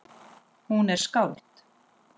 Hún er skáld.